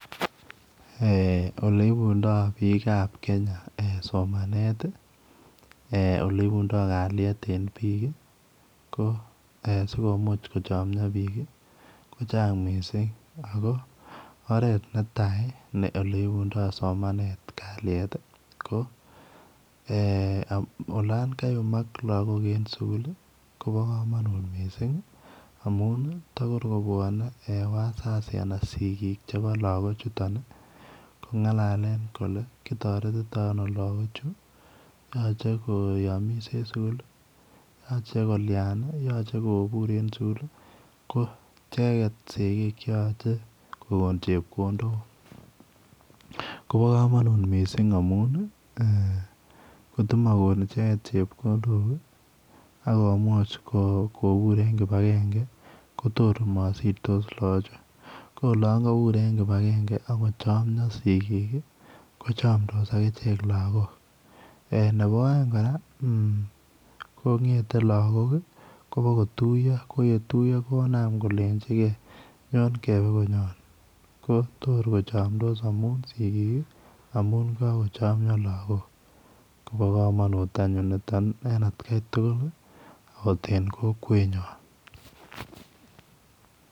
Oleibundo bik ab Kenya somanet oleibundo kalyet en bik ko sikomuch kochamia bik kochanga mising ako oret netai oleibundoi somanet kalyet ko olan kayumak lagok en sugul Koba kamanut mising takorkobwanen en wasasi anan sigik chebo lagok chuton kongalale Kole kitaretetoi anolagok cheyache koyamia en sugul yache kolian yache kobur en sugul ko icheken sigik cheyache kokon chepkondok Koba kamanut mising amun kotimakon ichen chepkondok akomamuch kobur en kibagenge Kotor komasirtos lagok Chu ko olon kabur en kibagenge akochomia sigik kochamdos agichek lagok Nebo aeng koraa kongeten lagok Koba kotioyo koyetuiyo konam kolenjigei nyon kebe konyon Kotor kochamdos amun sigik amunkakochamia lagok Koba kamanut anyun niton en atgai tugul okot en Kokwenyun